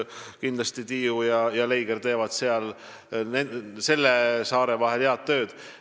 Kindlasti teevad Tiiu ja Leiger mandri ja saare vahel head tööd.